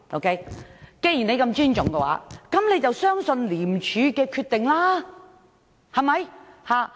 既然他這麼尊重廉署，便要相信廉署的決定，對嗎？